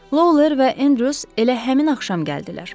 Lawler və Andrews elə həmin axşam gəldilər.